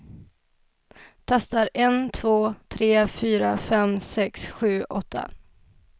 Testar en två tre fyra fem sex sju åtta.